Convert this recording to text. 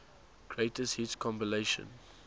greatest hits compilation